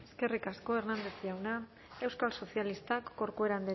eskerrik asko hernández jauna euskal sozialistak corcuera andrea